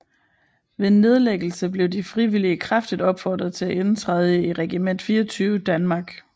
Ved nedlæggelsen blev de frivillige kraftigt opfordret til at indtræde i Regiment 24 Danmark